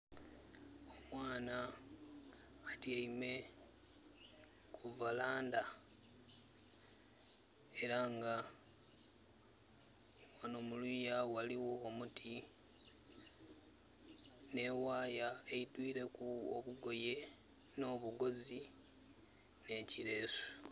Mwana atyaime ku varanda era nga muluya waliwo omuti ne waaya eidwireku obugoye no bugoozi ne kileesu